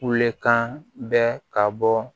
Wekan bɛ ka bɔ